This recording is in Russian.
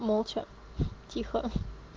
молча тихо